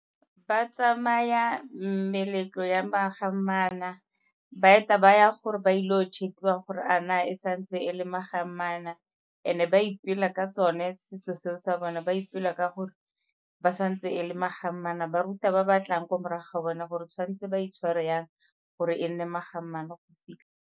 Ba tsamaya meletlo ya ba eta ba ya gore ba ile go check-iwa gore a na e santse e le , and-e ba ipela ka tsone setso seo sa bone. Ba ipela ka gore ba sa ntse e le ba ruta ba ba tlang ko morago ga bona gore tshwanetse ba itshware yang gore e nne go fitlha.